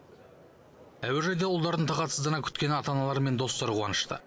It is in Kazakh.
әуежайда ұлдарын тағатсыздана күткен ата аналар мен достары қуанышты